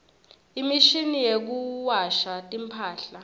imshini yekuwasha timphahla